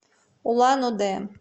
улан удэ